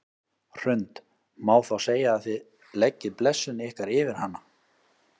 Hrund: Má þá segja að þið leggið blessun ykkar yfir hana?